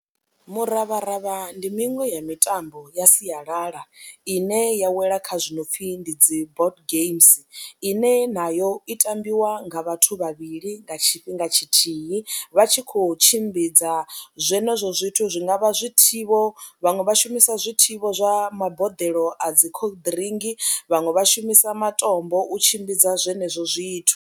Miravharavha ndi miṅwe ya mitambo ya sialala ine ya wela kha zwi no pfhi ndi dzi board games ine nayo i tambiwa nga vhathu vhavhili nga tshifhinga tshithihi vha tshi khou tshimbidza zwenezwo zwithu zwi nga vha zwithivho, vhaṅwe vha shumisa zwithivho zwa maboḓelo a dzi khoḽiḓirinki, vhaṅwe vha shumisa matombo u tshimbidza zwenezwo zwithu.